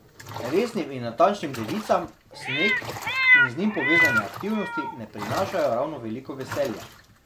Resnim in natančnim devicam sneg in z njim povezane aktivnosti ne prinašajo ravno veliko veselja.